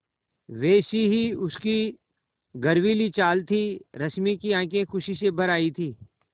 वैसी ही उसकी गर्वीली चाल थी रश्मि की आँखें खुशी से भर आई थीं